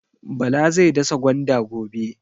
Bala zai dasa gwanda gobe.